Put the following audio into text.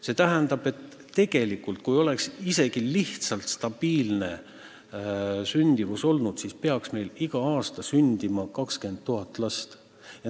See tähendab, et isegi kui olukord oleks stabiilne olnud, peaks meil iga aasta sündima 20 000 last.